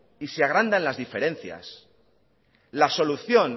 y se agranda las diferencias la solución